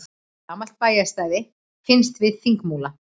Gamalt bæjarstæði finnst við Þingmúla